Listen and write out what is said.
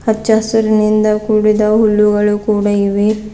ಹಚ್ಚ ಹಸಿರಿನಿಂದ ಕೂಡಿದ ಹುಲ್ಲುಗಳು ಕೂಡ ಇವೆ.